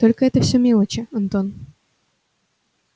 только это все мелочи антон